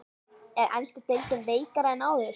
Er enska deildin veikari en áður?